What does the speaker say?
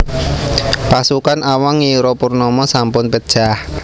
Pasukan Awang ngira Purnama sampun pejah